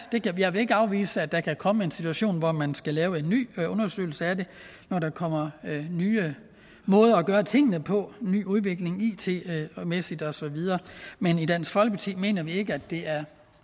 jeg vil ikke afvise at der kan komme en situation hvor man skal lave en ny undersøgelse af det når der kommer nye måder at gøre tingene på en ny udvikling it mæssigt osv men i dansk folkeparti mener vi ikke at det er